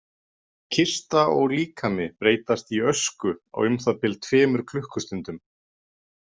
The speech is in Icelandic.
Kista og líkami breytast í ösku á um það bil tveimur klukkustundum.